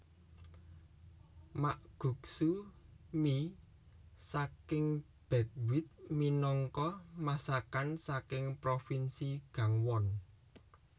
Makguksu mi saking buckwheat minangka masakan saking provinsi Gangwon